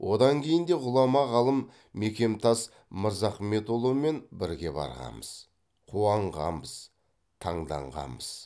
одан кейін де ғұлама ғалым мекемтас мырзахметұлымен бірге барғанбыз қуанғанбыз таңданғанбыз